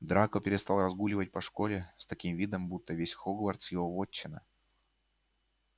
драко перестал разгуливать по школе с таким видом будто весь хогвартс его вотчина